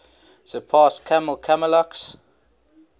surpass kammel kalamak's